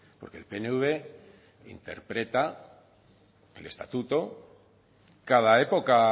porque el pnv interpreta el estatuto cada época